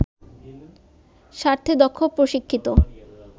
স্বার্থে দক্ষ, প্রশিক্ষিত